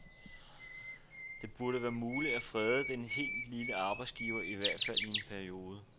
Det burde være muligt at frede den helt lille arbejdsgiver, i hvert fald i en periode.